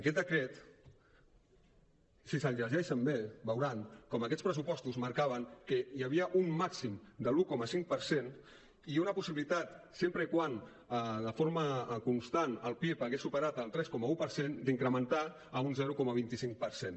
aquest decret si se’l llegeixen bé veuran com aquests pressupostos marcaven que hi havia un màxim de l’un coma cinc per cent i una possibilitat sempre que de forma constant el pib hagués superat el tres coma un per cent d’incrementar a un zero coma vint cinc per cent